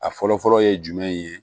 A fɔlɔ fɔlɔ ye jumɛn ye